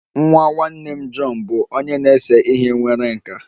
Nwa nwanne m, John bụ onye na-ese ihe nwere nkà